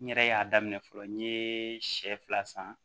N yɛrɛ y'a daminɛ fɔlɔ n ye sɛ fila san